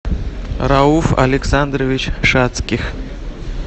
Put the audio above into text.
рауф александрович шацких